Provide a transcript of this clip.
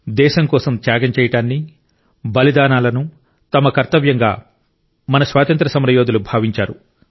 దేశం కోసం త్యాగం చేయడాన్ని బలిదానాలను తమ కర్తవ్యంగా మన స్వాతంత్ర్య సమర యోధులు భావించారు